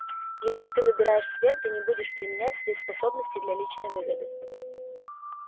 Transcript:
если ты выбираешь свет ты не будешь применять свои способности для личной выгоды